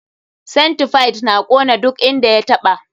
Centipide na kona duk inda ya taɓa.